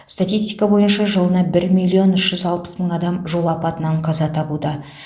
статистика бойынша жылына бір миллион үш жүз алпыс мың адам жол апатынан қаза табуда